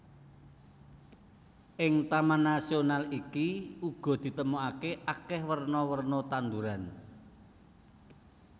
Ing taman nasional iki uga ditemokake akeh werna werna tanduran